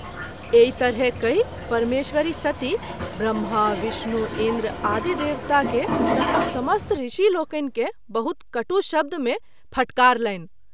एहि तरहे कहि परमेश्वरी सती ब्रह्मा, विष्णु इंन्द्र आदि देवता के तथा समस्त ऋषि लोकनि के बहुत कटु शब्द मे फटकारलनि।